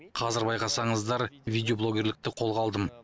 қазір байқасаңыздар видеоблогерлікті қолға алдым